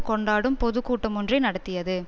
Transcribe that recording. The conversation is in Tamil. கொண்டாடும் பொது கூட்டமொன்றை நடத்தியது